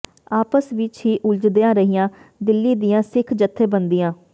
ਆਪਸ ਵਿਚ ਹੀ ਉਲਝਦੀਆਂ ਰਹੀਆਂ ਦਿੱਲੀ ਦੀਆਂ ਸਿੱਖ ਜੱਥੇਬੰਦੀਆਂ